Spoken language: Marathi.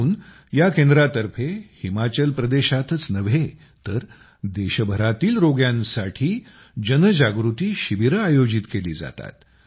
म्हणून या केंद्रातर्फे हिमाचल प्रदेशातच नव्हे तर देशभरातील रोग्यांसाठी जनजागृती शिबीरे आयोजित केली जातात